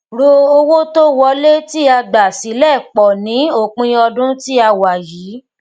ro owó tó wọlé tí a gbà silẹ pọ ní òpin ọdún tí a wà yìí